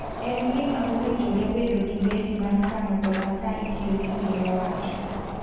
En gima owinjore bedo gi bendi mar kano pesa ka itiyo gi pinyo wacho.